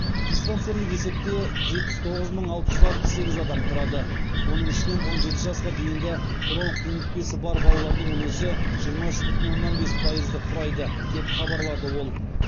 диспансерлік есепте жетпіс тоғыз мың алты жүз алпыс сегіз адам тұрады оның ішінен он жеті жасқа дейінгі бронх демікпесі бар балалардың үлесі жиырма үш бүтін оннан бес пайызды құрайды деп хабарлады ол